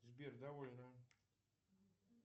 сбер довольно